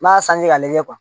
N'a sanji ka lajɛ